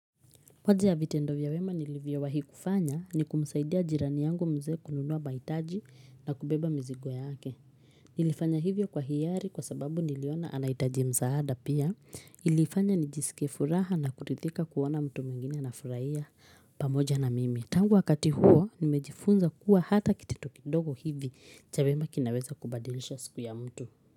Moza ya vitendo vya wema nilivyowahi kufanya ni kumsaidia jirani yangu mzee kununua baitaji na kubeba mizigo yake. Nilifanya hivyo kwa hiari kwa sababu niliona anaitaji msaada pia. Ilifanya nijisike furaha na kuridhika kuwona mtu mwingine anafuraia pamoja na mimi. Tangu wakati huo nimejifunza kuwa hata kitito kidogo hivi cha wema kinaweza kubadilisha siku ya mtu.